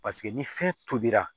Paseke ni fɛn tobira